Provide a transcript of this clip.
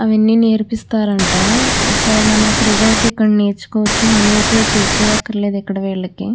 అవన్నీ నేర్పిస్తారు అంట సో మనం ఫ్రీ గా అయితే ఇక్కడ నేర్చుకోవచ్చు మనీ అయితే పే చేయకర్లేదు ఇక్కడ వీళ్ళకి.